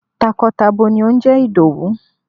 Takọ tabo ni ó ń jẹ́ Ìdòwú.